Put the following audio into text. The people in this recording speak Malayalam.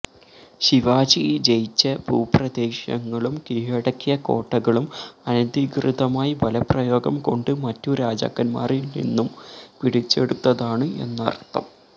ശിവാജി ജയിച്ച ഭൂപ്രദേശങ്ങളും കീഴടക്കിയ കോട്ടകളും അനധികൃതമായി ബലപ്രയോഗം കൊണ്ട് മറ്റു രാജാക്കന്മാരില്നിന്നും പിടിച്ചെടുത്തതാണ് എന്നര്ത്ഥം